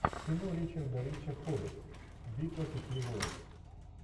кино ричарда рича хоббит битва пяти воинств